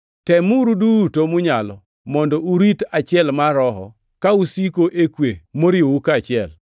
Temuru duto munyalo mondo urit achiel mar Roho ka usiko e kwe moriwou kaachiel.